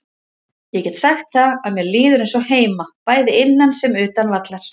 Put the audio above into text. Ég get sagt það að mér líður eins og heima, bæði innan sem utan vallar.